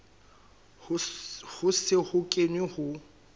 ho se ho kenwe ho